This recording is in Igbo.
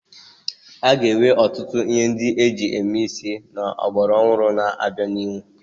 A ga-enwe ọtụtụ ihe ndị eji eme isi ọgbara ọhụrụ n'obianihu.